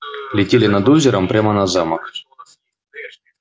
летели над озером прямо на замок